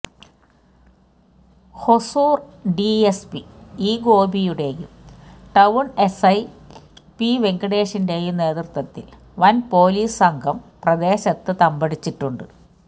Hosur DSP E ഗോപിയുടെയും town SI P വെങ്കടേഷിന്റെയും നേതൃത്വത്തില് വന് പോലിസ് സംഘം പ്രദേശത്ത് തമ്പടിച്ചിട്ടുണ്ട്